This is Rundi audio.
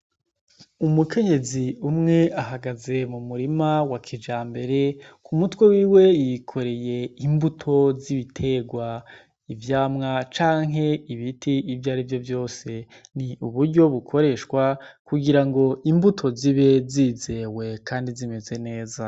Umukenyezi umwe ahagaze mu murima wa kijambere, ku mutwe wiwe yikoreye imbuto z’ibiterwa, ivyamwa canke ibiti ivyari vyo vyose. Ni uburyo bukoreshwa kugira ngo imbuto zibe zizewe kandi zimeze neza.